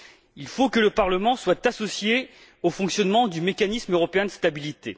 Il faut que le Parlement soit associé au fonctionnement du mécanisme européen de stabilité.